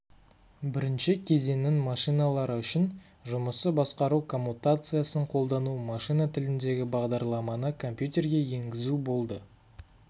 бірінші кезеңнің машиналары үшін жұмысы басқару коммутациясын қолдану машина тіліндегі бағдарламаны компьютерге енгізу болды